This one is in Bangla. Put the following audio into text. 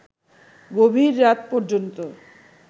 গভীর রাত পর্যন্ত